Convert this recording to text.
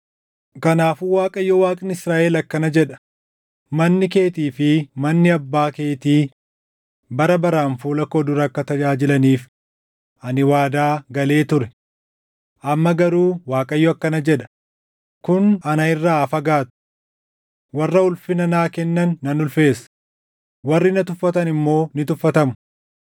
“Kanaafuu Waaqayyo Waaqni Israaʼel akkana jedha: ‘Manni keetii fi manni abbaa keetii bara baraan fuula koo dura akka tajaajilaniif ani waadaa galee ture.’ Amma garuu Waaqayyo akkana jedha: ‘Kun ana irraa haa fagaatu! Warra ulfina naa kennan nan ulfeessa; warri na tuffatan immoo ni tuffatamu.